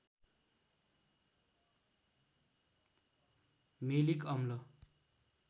malic अम्ल